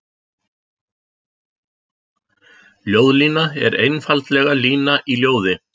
Ljóðlína er einfaldlega lína í ljóði.